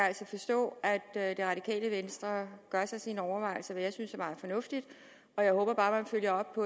altså forstå at det radikale venstre gør sig sine overvejelser hvad jeg synes er meget fornuftigt og jeg håber bare at man følger op